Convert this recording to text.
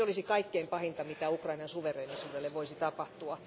Se olisi kaikkein pahinta, mitä Ukrainan suvereenisuudelle voisi tapahtua.